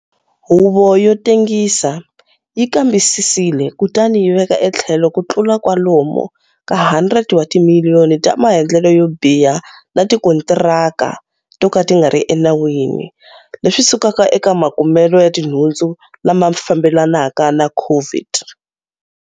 Huvo yo tengisa yi kambisisile kutani yi veka etlhelo ku tlula kwalomu ka R100 wa timiliyoni ta maendlelo yo biha ni tikontiraka to ka ti nga ri enawini leswi sukaka eka makumelo ya tinhundzu lama fambelanaka na COVID.